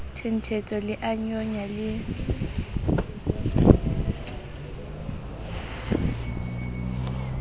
thenthetswa le a nyonya le